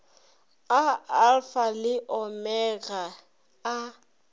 a alfa le omega a